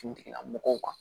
Kun tigilamɔgɔw kan